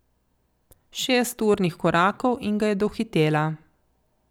Šest urnih korakov in ga je dohitela.